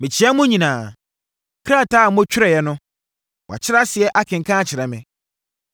Mekyea mo nyinaa. Krataa a motwerɛeɛ no, wɔakyerɛ aseɛ, akenkan akyerɛ me.